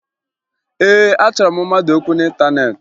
Ee, achọrọ m mmadụ okwu n'ịntaneetị